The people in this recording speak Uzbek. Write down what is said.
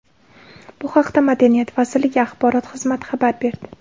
Bu haqda Madaniyat vazirligi axborot xizmati xabar berdi .